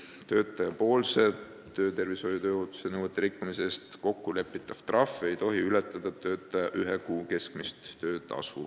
Kui töötaja on töötervishoiu ja tööohutuse nõudeid rikkunud, siis kokkulepitav trahv ei tohi ületada töötaja ühe kuu keskmist töötasu.